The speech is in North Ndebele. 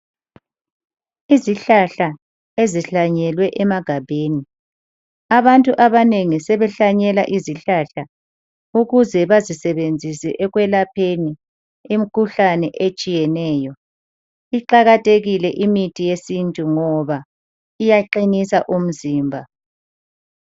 Izihlahla ezihlanyelwe emagabheni, abantu abanengi sebehlanyela Izihlahla ukuze bazisebenzise ekwelapheni imikhuhlane etshiyeneyo. Iqakathekile imithi yesintu ngoba iyaqinisa umzimba.